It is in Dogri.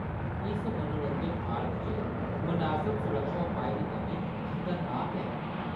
इस मनोरंजन पार्क च मनासब सुरक्षा उपाएं दी कमी खतरनाक ऐ।